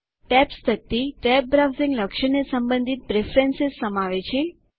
tabs તકતી tabbed browsing લક્ષણને સંબંધિત પ્રેફરન્સ સમાવે છે